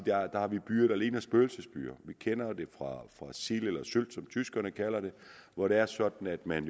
at vi har byer der ligner spøgelsesbyer vi kender det fra sild eller sylt som tyskerne kalder den hvor det er sådan at man